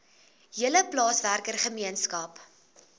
hele plaaswerker gemeenskap